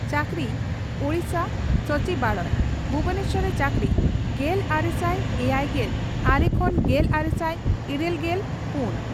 ᱪᱟᱹᱠᱨᱤ ᱺ ᱳᱰᱤᱥᱟ ᱥᱚᱪᱤᱵᱟᱲᱚᱭ, ᱵᱷᱩᱵᱚᱱᱮᱥᱚᱨ ᱨᱮ ᱪᱟᱹᱠᱨᱤ ᱼᱜᱮᱞᱟᱨᱮᱥᱟᱭ ᱮᱭᱟᱭᱜᱮᱞ ᱟᱨᱮ ᱠᱷᱚᱱ ᱜᱮᱞᱟᱨᱮᱥᱟᱭ ᱤᱨᱟᱹᱞᱜᱮᱞ ᱯᱩᱱ )᱾